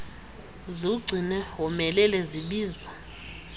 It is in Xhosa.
ziwugcine womelele zibizwa